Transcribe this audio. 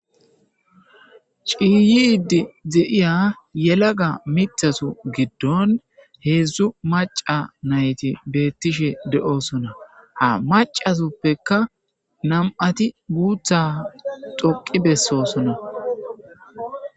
ciiyidi zeiya yelaga mithasu giddon heedzdzu maca nayti beettishe de7osona ha macasuppekka nam7ati guutha xoqi bessosona